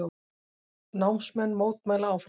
Námsmenn mótmæla áfram